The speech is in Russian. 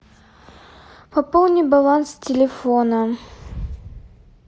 пополни баланс телефона